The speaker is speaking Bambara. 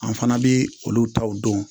An fana bi olu taw don